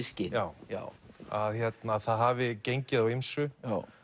skyn já já að það hafi gengið á ýmsu